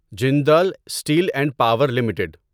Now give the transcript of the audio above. Jindal steel and power limited